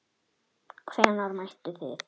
Stefán Páll: Hvenær mættuð þið?